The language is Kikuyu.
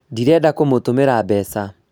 Ndĩrenda kũmũtũmĩra mbeca